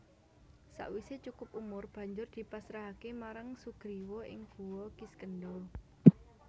Sawisé cukup umur banjur dipasrahaké marang Sugriwa ing Guwa Kiskendha